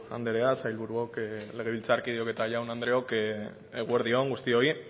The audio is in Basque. andrea sailburuok legebiltzarkideok eta jaun andreok eguerdi on guztioi